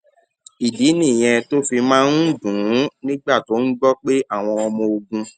ìdí nìyẹn tó fi máa ń dùn ún nígbà tó ń gbó pé àwọn ọmọ ogun